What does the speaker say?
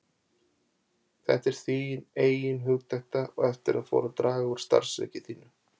Þetta var þín eigin hugdetta eftir að fór að draga úr starfsþreki þínu.